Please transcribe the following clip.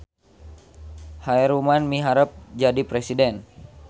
Khaeruman miharep jadi presiden